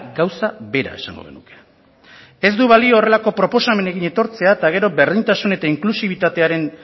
gauza bera esango genuke ez du balio horrelako proposamenekin etortzea eta gero berdintasun eta inklusibitatearen